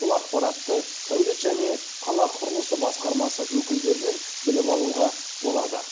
бұл ақпаратты сәулет және қала құрылысы басқармасы өкілдерінен біліп алуға болады